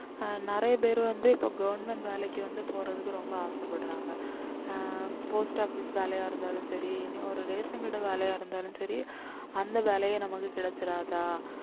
அஹ் நிறைய பேர் வந்து இப்ப government வேலைக்கு வந்து போறதுக்கு ரொம்ப ஆசைப்படுறாங்க ஆஹ் post office வேலையா இருந்தாலும் சரி இனி ஒரு ration கடை வேலையா இருந்தாலும் சரி அந்த வேலையே நமக்கு கிடைச்சிறாதா